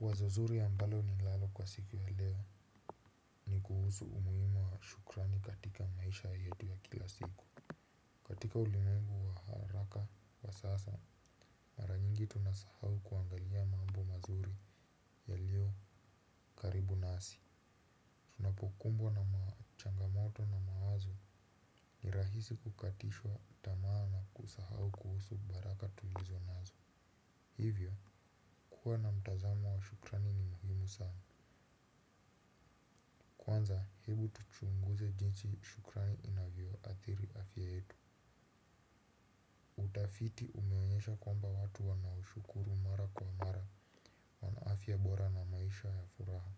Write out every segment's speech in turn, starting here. Wazo zuri ambalo ninalo kwa siku ya leo ni kuhusu umuhimu wa shukrani katika maisha yetu ya kila siku katika ulimwengu wa haraka na sasa mara nyingi tunasahau kuangalia mambo mazuri yalio karibu nasi. Tunapokumbwa na ma changamato na mawazo ni rahisi kukatishwa tamaa na kusahau kuhusu baraka tulizo nazo hivyo kuwa na mtazamo wa shukrani ni muhimu sana kwanza hebu tuchunguze jinsi shukrani inavyoathiri afya yetu utafiti wanaoshukuru mara kwa mara wana afya bora na maisha ya furaha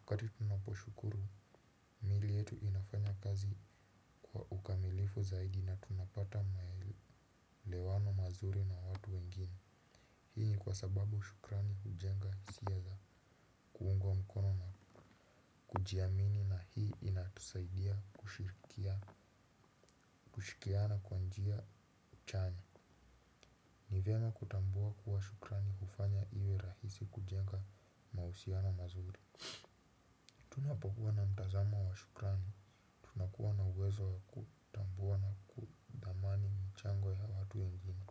wakati tunaposhukuru, mili yetu inafanya kazi kwa ukamilifu zaidi na tunapata maelewano mazuri na watu wengine hii ni kwa sababu shukrani hujenga hisia za kuungwa mkono kujiamini na hii inatusaidia kushirikia. Shikiana kwa njia chanya. Ni vyema kutambua kuwa shukrani hufanya iwe rahisi kujenga mahusiano mazuri tunapokuwa na mtazamo wa shukrani. Nakua na uwezo wa kutambua na ku thamani mchango ya watu wengine.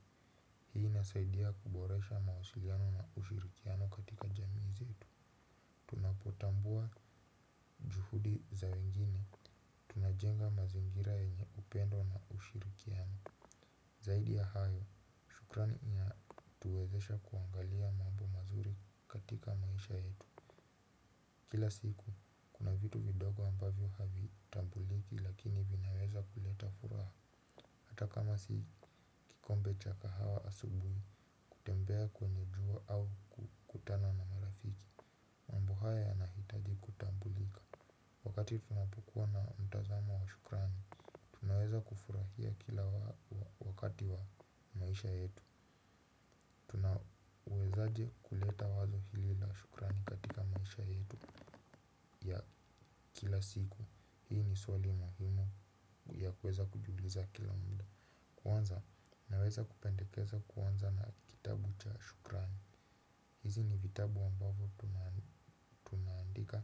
Hii inasaidia kuboresha mawasiliano na ushirikiano katika jamii zetu tunapotambua juhudi za wengine. Najenga mazingira yenye upendo na ushirikiano. Zaidi ya hayo shukrani inatuwezesha kuangalia mambo mazuri katika maisha yetu. Kila siku kuna vitu vidogo ambavyo havitambuliki lakini vinaweza kuleta furaha. Hata kama sii kikombe cha kahawa asubui kutembea kwenye jua au kukutana na marafiki mambo haya yanahitaji kutambulika wakati tunapokuwa na mtazamo wa shukrani. Naweza kufurahia kila wakati wa maisha yetu tuna wezaji wa kuleta wazo hili la shukrani katika maisha yetu ya kila siku hii ni swali muhimu ya kuweza kujiuliza. Kwanza naweza kupendekeza kuanza na kitabu cha shukrani. Hizi ni vitabu ambavyo tunaandika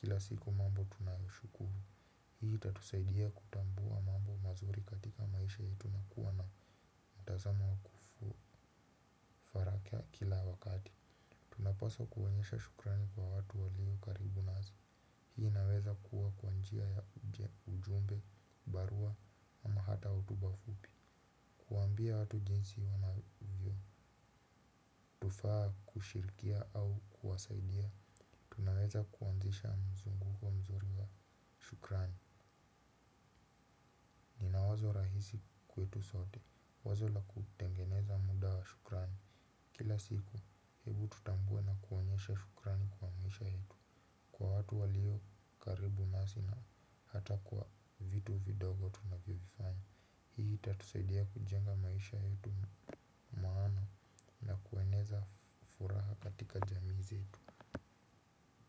kila siku mambo tunayoshukuru hii itatusaidia kutambua mambo mazuri katika maisha yetu na kila wakati tunapaswa kuonyesha shukrani kwa watu walio karibu nasi hii inaweza kuwa kwa njia ya ujumbe, barua pepe na ujumbe fupi kuambia watu jinsi unavyo wazo la kutengeneza muda wa shukrani kila siku, ebu tutambue na kuonyesha shukrani kwa maisha yetu kwa watu waliokaribu nasi na ata kwa vitu vidogo tunavyovifanya hii itatusaidia kujenga maisha yetu maana na kueneza furaha katika jamii zetu.